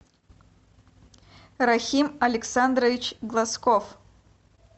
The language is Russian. рахим александрович глазков